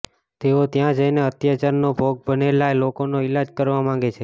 તેઓ ત્યાં જઈને અત્યાચારનો ભોગ બનેલા લોકોનો ઈલાજ કરવા માંગે છે